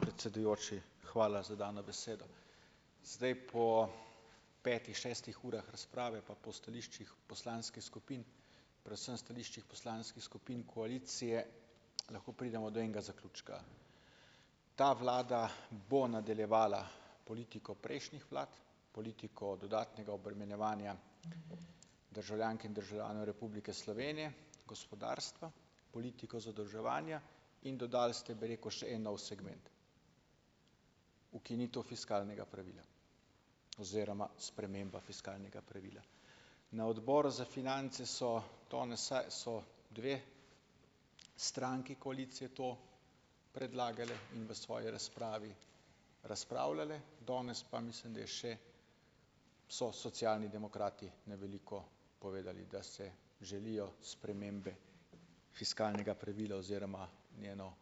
Predsedujoči, hvala za dano besedo. Zdaj po petih, šestih urah razprave pa po stališčih poslanskih skupin, predvsem stališčih poslanskih skupin koalicije, lahko pridemo do enega zaključka, ta vlada bo nadaljevala politiko prejšnjih vlad, politiko dodatnega obremenjevanja državljank in državljanov Republike Slovenije, gospodarstva, politiko zadolževanja, in dodali ste, bi rekel, še en nov segment: ukinitev fiskalnega pravila oziroma sprememba fiskalnega pravila, na odboru za finance so danes, saj sta dve stranki koalicije to predlagali in v svoji razpravi razpravljale danes, pa mislim, da je še so socialni demokrati na veliko povedali, da si želijo spremembe fiskalnega pravila oziroma njegovo,